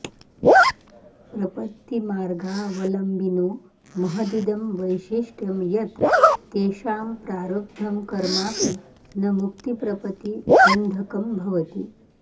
प्रपत्तिमार्गावलम्बिनो महदिदं वैसिष्ट्यं यत् तेषां प्रारब्धं कर्माऽपि न मुक्तिप्रपतिबन्धकं भवति